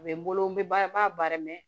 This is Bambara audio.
A bɛ n bolo n bɛ ba n b'a bari